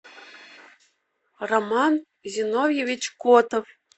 роман зиновьевич котов